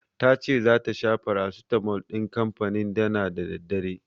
Tace zata sha farasitamol din kanfanin Dana da daddare.